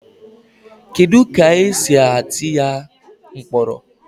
Kedu ka esi atụ ya mkpọrọ